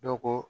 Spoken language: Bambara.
Dɔ ko